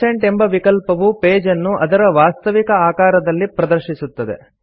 100 ಎಂಬ ವಿಕಲ್ಪವು ಪೇಜ್ ಅನ್ನು ಅದರ ವಾಸ್ತವಿಕ ಆಕಾರದಲ್ಲಿ ಪ್ರದರ್ಶಿಸುತ್ತದೆ